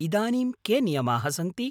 इदानीं के नियमाः सन्ति?